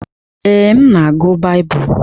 Ee, m na-agụ Baịbụl.